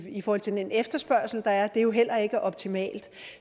i forhold til den efterspørgsel der er jo heller ikke optimalt